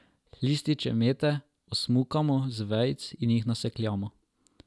Lističe mete osmukamo z vejic in jih nasekljamo.